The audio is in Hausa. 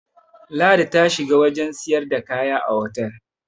ladi ta shiga wajen siyarda kaya a otal